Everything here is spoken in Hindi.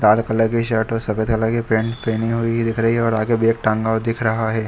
लाल कलर की शर्ट और सफ़ेद कलर की पैंट पहनी हुई दिख रही है और आगे बैग टांगा हुआ दिख रहा है।